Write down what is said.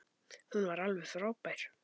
Hún var alveg frábær.